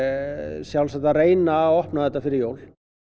sjálfsagt að reyna að opna þetta fyrir jól